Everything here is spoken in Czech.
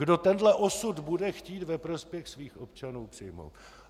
Kdo tenhle osud bude chtít ve prospěch svých občanů přijmout?